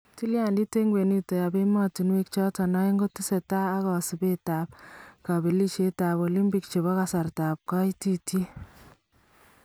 Tilyandit en kwenutab emontunwek choton aeng kokotesaak kosuubkee ak kabelishetab olimpik chebo kasartaab kaitityet